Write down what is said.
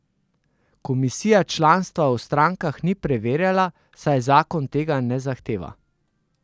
Komisija članstva v strankah ni preverjala, saj zakon tega ne zahteva.